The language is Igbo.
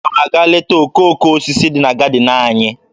Aga m aga leta okooko osisi dị na gadịn anyị